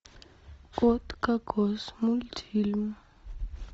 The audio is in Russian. кот кокос мультфильм